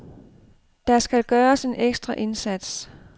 Der skal gøres en ekstra indsats.